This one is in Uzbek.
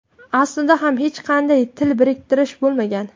Aslida ham hech qanday til biriktirish bo‘lmagan.